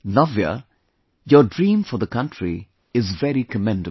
Navya, your dream for the country is very commendable